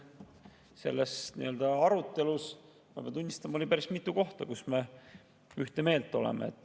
Selles arutelus, ma pean tunnistama, oli päris mitu kohta, kus me ühte meelt oleme.